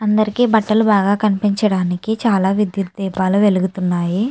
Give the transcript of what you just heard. అందరికీ బట్టలు బాగా కనిపించడానికి చాలా విద్యుత్ దీపాలు వెలుగుతున్నాయి.